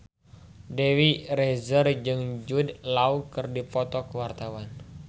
Dewi Rezer jeung Jude Law keur dipoto ku wartawan